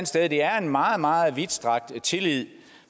sted at det er en meget meget vidtstrakt tillid